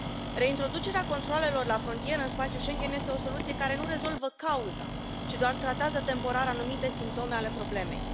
Reintroducerea controalelor la frontieră în spațiul Schengen este o soluție care nu rezolvă cauza, ci doar tratează temporar anumite simptome ale problemei.